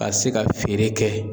a se ka feere kɛ.